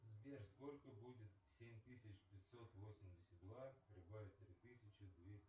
сбер сколько будет семь тысяч пятьсот восемьдесят два прибавить три тысячи двести